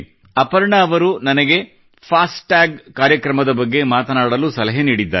ಅಪರ್ಣಾ ಅವರು ನನಗೆ fast tag ಕಾರ್ಯಕ್ರಮದ ಬಗ್ಗೆ ಮಾತನಾಡಲು ಸಲಹೆ ನೀಡಿದ್ದಾರೆ